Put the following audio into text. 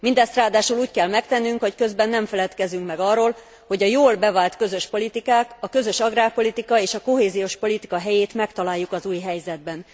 Mindezt ráadásul úgy kell megtennünk, hogy közben nem feledkezünk meg arról, hogy a jól bevált közös politikák, a közös agrárpolitika és a kohéziós politika helyét megtaláljuk az új helyzetben.